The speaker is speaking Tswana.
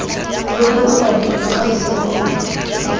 lo bolokaneng lo gaiseng rona